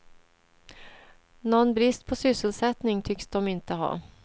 Någon brist på sysselsättning tycks de inte ha.